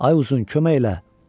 Ay uzun, kömək elə!